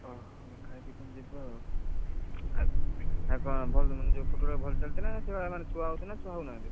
ଓଃ ଖାଇ ପିକି ତମେ ଯିବ ଆଉ, ଆଉ କଣ ଫୁଟ ball ଟା ଭଲ ଚାଲୁଛି ନା ସେଇ ଭଳିଆ ଛୁଆ ହଉଛନ୍ତି ନା ଛୁଆ ହଉ ନାହାନ୍ତି।